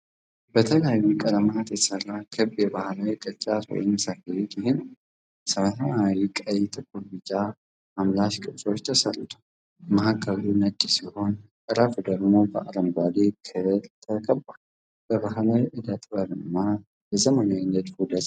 በተለያዩ ቀለማት የተሰራ ክብ የባህላዊ ቅርጫት ወይም ሰፌድ ይህ ነው። በሰማያዊ፣ ቀይ፣ ጥቁርና ቢጫ አምላሽ ቅርጾች ተሠርቷል። መሃከሉ ነጭ ሲሆን፣ ጠረፉ ደግሞ በአረንጓዴ ክር ተከቧል። የባሕል እደ ጥበብና የዘመናዊ ንድፍ ውህደት ይነበባል።